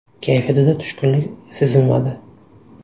Kayfiyatida tushkunlik sezilmadi.